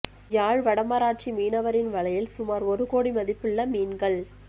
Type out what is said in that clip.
யாழ் வடமராட்சி மீனவரின் வலையில் சுமார் ஒரு கோடி மதிப்புள்ள மீன்கள்